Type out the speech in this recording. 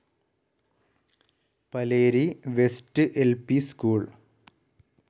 Paleri west ൽ P school